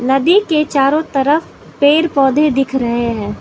नदी के चारों तरफ पेड़ पौधे दिख रहें हैं।